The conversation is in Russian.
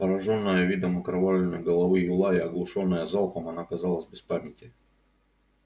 поражённая видом окровавленной головы юлая оглушённая залпом она казалась без памяти